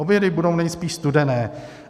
Obědy budou nejspíš studené.